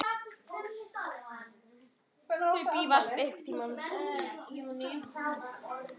Þau bifast ekki.